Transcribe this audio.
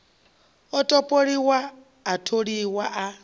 a topoliwa a tholiwa a